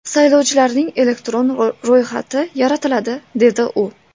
Saylovchilarning elektron ro‘yxati yaratiladi”, dedi u.